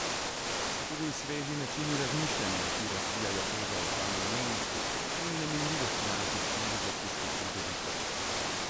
Pa tudi sveži načini razmišljanja, ki razbijajo tezo o samoumevnosti in neminljivosti naših civilizacijskih pridobitev.